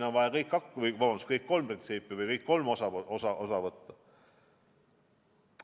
On vaja kõik kolm printsiipi aluseks võtta.